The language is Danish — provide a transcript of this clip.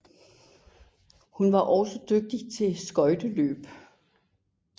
Hun var også dygtig til skøjteløb